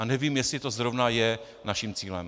A nevím, jestli to zrovna je naším cílem.